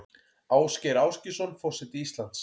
Ásgeir Ásgeirsson forseti Íslands